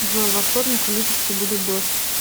джой во вторник в липецке будет дождь